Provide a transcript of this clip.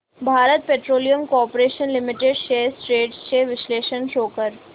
Bharat petroleum corporation limited shares trends चे विश्लेषण show कर